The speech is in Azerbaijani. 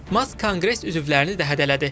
Mask Konqres üzvlərini də hədələdi.